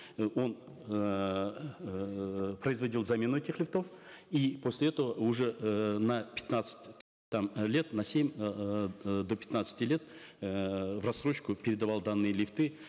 э он эээ производил замену этих лифтов и после этого уже эээ на пятнадцать там лет на семь эээ до пятнадцати лет эээ в рассрочку передавал данные лифты